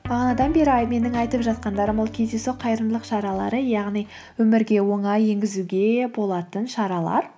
бағанадан бері менің айтып жатқандарым ол кездейсоқ қайырымдылық шаралары яғни өмірге оңай енгізуге болатын шаралар